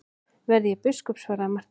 Verði ég biskup, svaraði Marteinn.